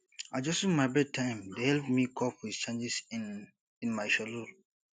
adjusting my bedtime dey help me cope with changes in in my schedule